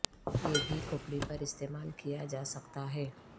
یہ بھی کھوپڑی پر استعمال کیا جا سکتا ہے